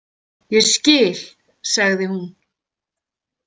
Ég skil, sagði hún.